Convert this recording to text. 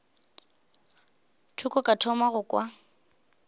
thoko ka thoma go kwa